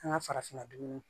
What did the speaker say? An ka farafinna dun